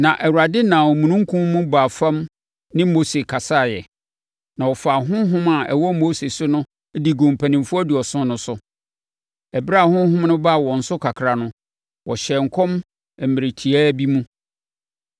Na Awurade nam omununkum mu baa fam ne Mose kasaeɛ, na ɔfaa honhom a ɛwɔ Mose so no de guu mpanimfoɔ aduɔson no so. Ɛberɛ a honhom no baa wɔn so kakra no, wɔhyɛɛ nkɔm mmerɛ tiawa bi mu.